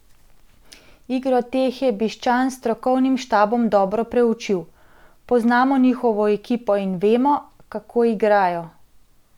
Igro teh je Bišćan s strokovnim štabom dobro preučil: "Poznamo njihovo ekipo in vemo, kako igrajo.